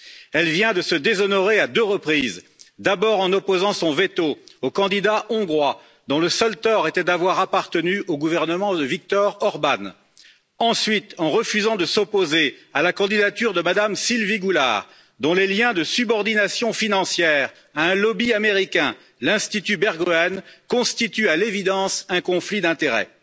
Elle vient de se déshonorer à deux reprises, d'abord en opposant son veto au candidat hongrois, dont le seul tort était d'avoir appartenu au gouvernement de Viktor Orbán, ensuite en refusant de s'opposer à la candidature de Mme Sylvie Goulard, dont les liens de subordination financière à un lobby américain, l'Institut Berggruen, constituent à l'évidence un conflit d'intérêts.